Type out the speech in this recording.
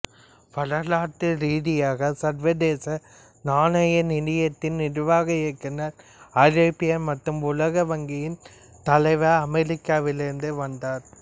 வரலாற்று ரீதியாக சர்வதேச நாணய நிதியத்தின் நிர்வாக இயக்குனர் ஐரோப்பியர் மற்றும் உலக வங்கியின் தலைவர் அமெரிக்காவிலிருந்து வந்தவர்